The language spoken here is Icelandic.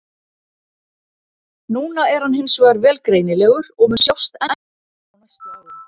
Núna er hann hins vegar vel greinilegur og mun sjást enn betur á næstu árum.